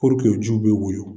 o jiw bɛ woyo